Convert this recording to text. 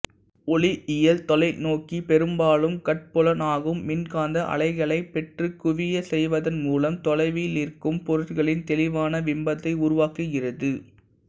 ஒளியியல் தொலைநோக்கி பெரும்பாலும் கட்புலனாகும் மின்காந்த அலைகளைப் பெற்றுக் குவியச் செய்வதன் மூலம் தொலைவிலிருக்கும் பொருட்களின் தெளிவான விம்பத்தை உருவாக்குகிறது